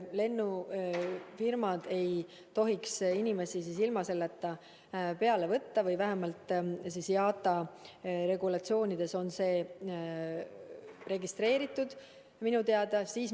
Lennufirmad ei tohiks inimesi ilma selleta peale võtta või vähemalt IATA regulatsioonides on see minu teada sees.